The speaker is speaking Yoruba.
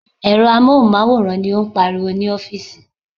Èrò amóhùnmáwòrán ni ó ń pariwo ní ọ́fíìsì.